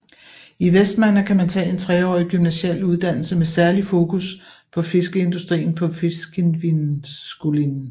I Vestmanna kan man tage en treårig gymnasial uddannelse med særligt fokus på fiskeindustrien på Fiskivinnuskúlin